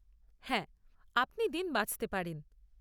হ্যাঁ, আপনি দিন বাছতে পারেন।